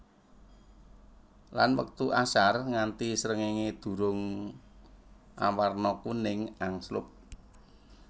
Lan wektu Ashar nganti srengéngé durung awarna kuning angslup